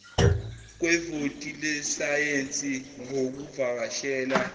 kwevoti lesayensi ngokuvakashela